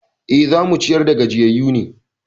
E, za mu ciyar da gajiyayyu ne.